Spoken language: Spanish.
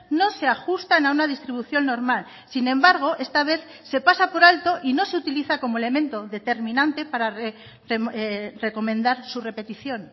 no se ajustan a una distribución normal sin embargo esta vez se pasa por alto y no se utiliza como elemento determinante para recomendar su repetición